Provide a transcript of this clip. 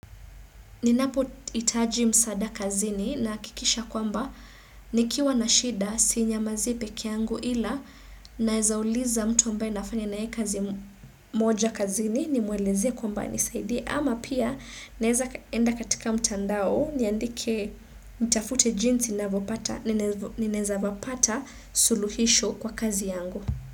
Ninapo hitaji msaada kazini na hakikisha kwamba nikiwa na shida sinyamazi pekee yangu ila naeza uliza mtu ambaye nafanya na ye kazi moja kazini ni mwelezee kwamba anisaidie ama pia naeza enda katika mtandao niandike nitafute jinsi ninaeza vapata suluhisho kwa kazi yangu.